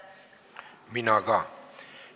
Mina ka.